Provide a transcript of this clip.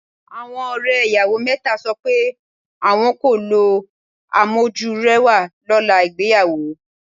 Àwọn ọ̀rẹ́ ìyàwó mẹ́ta sọ pé àwọn kò lo amójúrẹwà lọ́la ìgbéyàwó.